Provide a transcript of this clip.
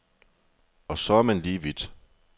Og så er man lige vidt.